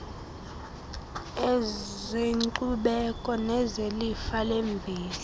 ezenkcubeko nezelifa lemveli